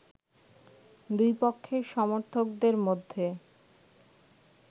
দুইপক্ষের সমর্থকদের মধ্যে